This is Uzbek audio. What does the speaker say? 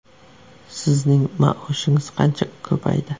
Sizning maoshingiz qanchaga ko‘paydi?